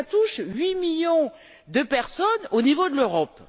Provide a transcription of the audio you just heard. Et cela touche huit millions de personnes au niveau de l'Europe.